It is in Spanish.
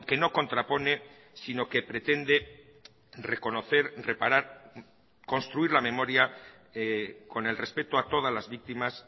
no contrapone sino que pretende reconocer reparar construir la memoria con el respeto a todas las víctimas